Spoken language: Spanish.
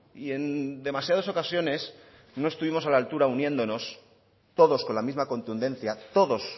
y en demasiadas ocasiones no estuvimos a la altura uniéndonos todos con la misma contundencia todos